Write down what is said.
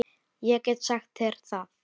Ég get sagt þér það